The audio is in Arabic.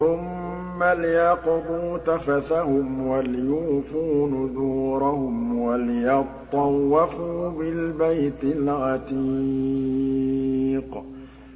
ثُمَّ لْيَقْضُوا تَفَثَهُمْ وَلْيُوفُوا نُذُورَهُمْ وَلْيَطَّوَّفُوا بِالْبَيْتِ الْعَتِيقِ